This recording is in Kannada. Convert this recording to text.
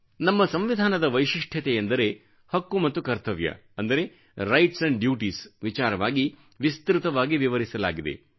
ನಮ್ಮ ಸಂವಿಧಾನದ ವೈಶಿಷ್ಠ್ಯತೆಯೆಂದರೆ ಹಕ್ಕು ಮತ್ತು ಕರ್ತವ್ಯ ಅಂದರೆ ರೈಟ್ಸ್ ಡ್ಯೂಟೀಸ್ ವಿಚಾರವಾಗಿ ವಿಸ್ತೃತವಾಗಿ ವಿವರಿಸಲಾಗಿದೆ